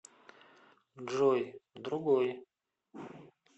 джой другой